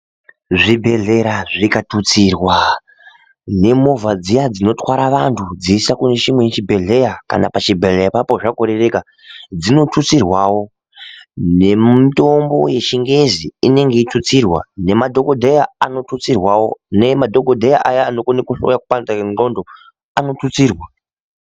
Zvibhedhlera zvikatutsirwa nemuvha dziya dzinotwara vantu dzichiisa kune chimwe chibhehlera kana pachibhedhlera ipapo zvakorereka dzinotutsirwawo, nemitombo yechingezi inenge ichitutsirwa namadhokodheya anotutsirwawo namadhokodheya aya anogone kupanda wendondo anotutsirwa.